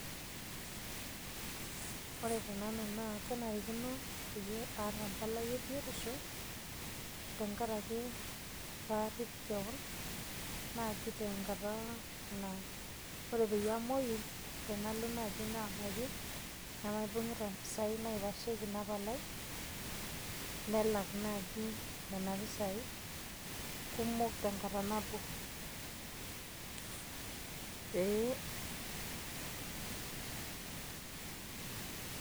Ore tenanu naa kenarikino peyie aata empalai ebiotisho, tenkaraki parrip keon, naji tenkata naa ore peyie amoyu, tenalo naji nabaiki, nemaibung'ita mpisai naitasheki ina palai, nelak naji nena pisai, kumok tenkata nabo. Pee.